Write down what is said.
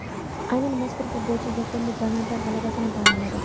Aynan mazkur futbolchi yakunda gollandlar g‘alabasini ta’minladi.